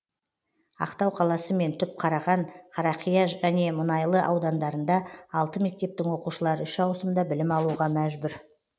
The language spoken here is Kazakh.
ақтау қаласы мен түпқараған қарақия және мұнайлы аудандарында алты мектептің оқушылары үш ауысымда білім алуға мәжбүр